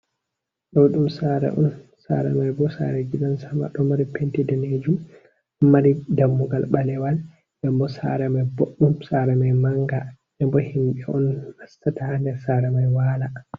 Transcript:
Ɗoo ɗum saare on, saare mai bo saare gidan sama, do mari penti daneejum ɗo mari dammugal ɓalewal nden boo saare mai boɗɗum saare mai mannga ebo himɓe on mastata haa nder saare mai waala.